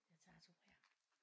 Jeg tager 2 her